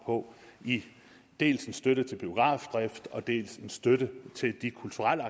på i dels støtte til biografdrift dels støtte til de kulturelle